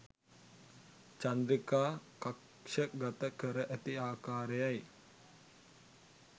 චන්ද්‍රිකා කක්ෂගත කර ඇති ආකාරයයි